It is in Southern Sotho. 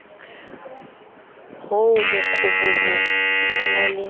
oo mokobobo o na le